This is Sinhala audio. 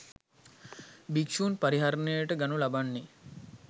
භික්ෂූන්ගේ පරිහරණයට ගනු ලබන්නේ